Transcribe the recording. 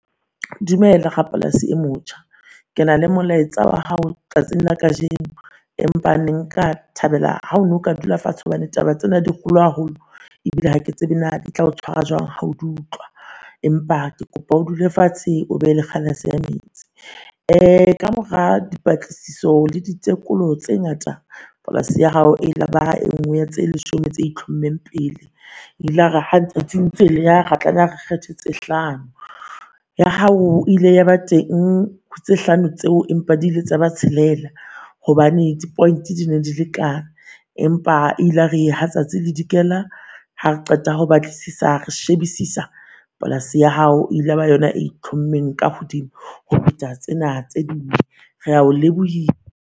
Dumela rapolasi e motjha. Ke na le molaetsa wa hao tsatsing la kajeno. Empa ne nka thabela ha o no ka dula fatshe hobane taba tsena di kholo haholo, ebile ha ke tsebe naa di tla o tshwara jwang ha o dutlwa. Empa ke kopa o dule fatshe o be le kgalase ya metsi. Uh ka mora dipatlisiso le ditekolo tse ngata polase ya hao ilaba e nngwe ya tse leshome tse itlhommeng pele, e ilare ha letsatsi le ntse le eya ra tlameha re kgethe tse hlano. Ya hao ile ya ba teng ho tse hlano tseo, empa di ile tsa ba tshelela hobane di-point di ne di le kaa. Empa ilare ha tsatsi le dikela hare qeta ho batlisisa re shebisisa polasi ya hao ilaba yona e itlhommeng ka hodimo ho feta tsena tse ding. Re a ho